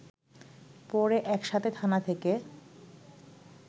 পড়ে একসাথে থানা থেকে